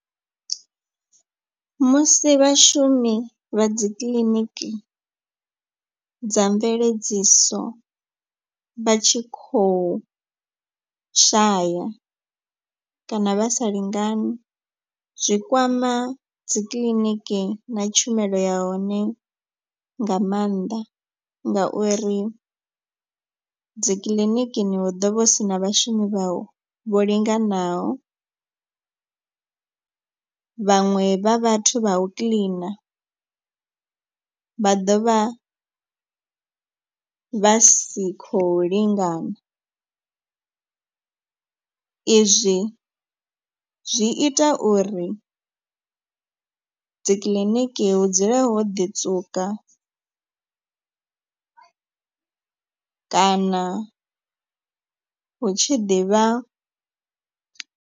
Musi vhashumi vha dzi kiḽiniki dza mveledziso vha tshi khou shaya kana vha sa lingani. Zwi kwama dzikiḽiniki na tshumelo ya hone nga maanḓa ngauri dzikiḽinikini hu ḓovha hu si na vhashumi vha vho linganaho. Vhaṅwe vha vhathu vha u kiḽina vha ḓo vha vha si khou lingana. I zwi zwi ita uri dzikiḽiniki hu dzule ho ḓi tswuka kana hu tshi ḓivha.